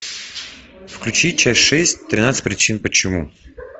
включи часть шесть тринадцать причин почему